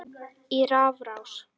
í rafrás